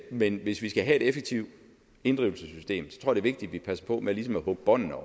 men hvis vi skal have et effektivt inddrivelsessystem så tror det vigtigt vi passer på med ligesom at kappe båndene